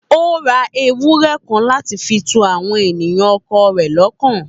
Ó ra ewurẹ kan láti fi tu àwọn ènìyàn ọkọ rẹ̀ lọ́kàn.